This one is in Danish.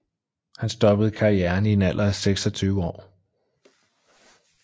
Han stoppede karrieren i en alder af 26 år